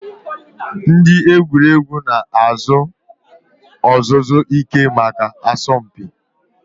Ndị egwuregwu na-azụ ọzụzụ ike maka asọmpi.